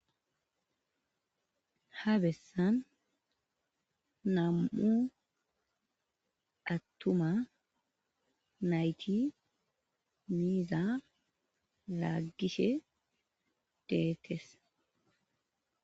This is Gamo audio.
Ha bessan nam,u attuma nayti miiza raaggishe deekes.